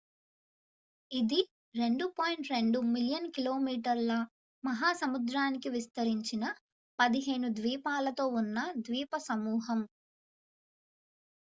ఇది 2.2 మిలియన్ కిలోమీటర్ల మహా సముద్రానికి విస్తరించిన 15 ద్వీపాలతో ఉన్న ద్వీపసమూహం